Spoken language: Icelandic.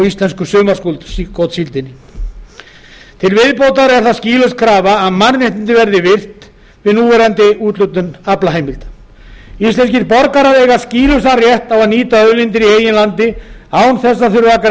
íslensku sumargotssíldinni til viðbótar er það skýlaus krafa að mannréttindi verði virt við núverandi úthlutun aflaheimilda íslenskir borgarar eiga skýlausan rétt á að nýta auðlindir í eigin landi án þess að